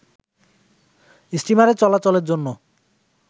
স্টিমারে চলাচলের জন্য